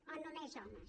o només homes